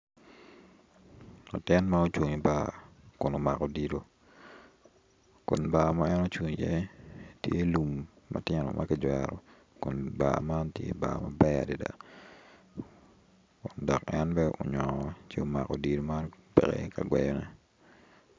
Latin ma ocung ibar kun omako odilo kun bar ma en ocung i iye tye lum matino ma kijwero kun bar man tye bar maber adada dok en bene onyo ci omako odilo mab peke kagweyone